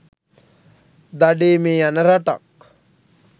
දඩයමේ යන රටක්